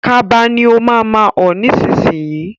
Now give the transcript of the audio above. Kaba ni ó ma ma ọ̀ nísinsìnyí